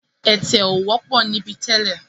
Ẹ̀tẹ̀ ò wọ́pọ̀ níbí tẹ́lẹ̀.